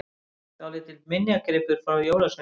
Dálítill minjagripur frá jólasveininum!